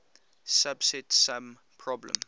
subset sum problem